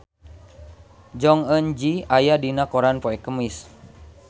Jong Eun Ji aya dina koran poe Kemis